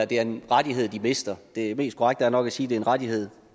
det er en rettighed de mister det mest korrekte er nok at sige at det er en rettighed